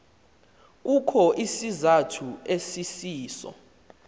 kukho isizathu esisiso